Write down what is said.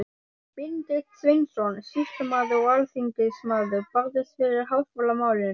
Benedikt Sveinsson, sýslumaður og alþingismaður, barðist fyrir háskólamálinu.